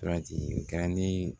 Suraki garandi